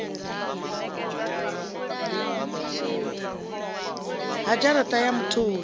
ha dzhara ṱa ya mutholi